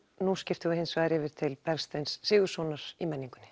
nú skiptum við hins vegar yfir til Bergsteins Sigurðssonar í menningunni